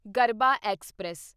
Garbha express